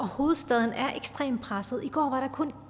hovedstaden er ekstremt presset i går var der kun